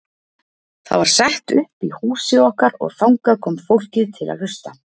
Það var sett upp í húsi okkar og þangað kom fólkið til að hlusta.